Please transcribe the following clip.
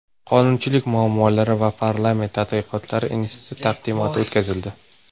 Qonunchilik muammolari va parlament tadqiqotlari instituti taqdimoti o‘tkazildi.